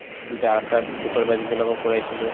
supervisor বিলাকক কৰাইছিলো